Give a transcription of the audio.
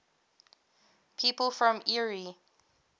people from eure